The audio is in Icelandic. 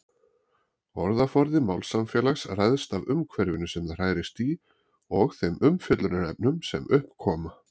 Orðaforði málsamfélags ræðst af umhverfinu sem það hrærist í og þeim umfjöllunarefnum sem upp koma.